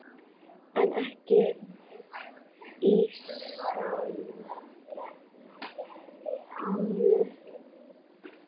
En ekki í Sambíu.